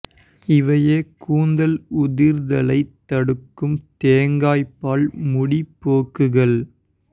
இவையே கூந்தல் உதிர்தலைத் தடுக்கும் தேங்காய் பால் முடி பேக்குகள்